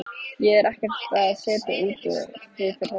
Ég er ekkert að setja út á þig fyrir þetta.